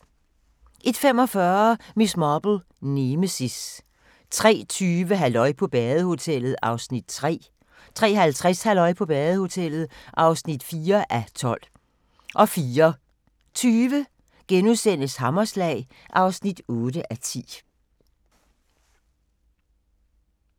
01:45: Miss Marple: Nemesis 03:20: Halløj på badehotellet (3:12) 03:50: Halløj på badehotellet (4:12) 04:20: Hammerslag (8:10)*